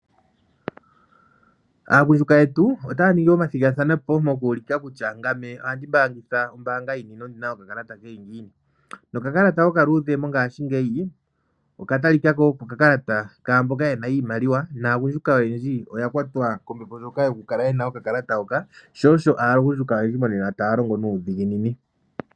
Aagundjuka yetu otaya ningi omathigathano po moku ulika kutya ngame ohandi mbaangitha ombaanga yini nondi na okakalata ke li ngiini. Nokakalata okaluudhe mongaashingeyi oka talika ko oko okakalata kaa mboka ye na iimaliwa naagundjuka oyendji oya kwatwa kombepo ndjoka yokukala ye na okakalata hoka. Sho osho aagundjuka oyendji monena taa longo nuudhiginini.